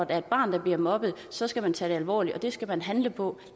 er et barn der bliver mobbet så skal man tage det alvorligt og det skal man handle på